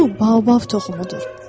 Bu Baobab toxumudur.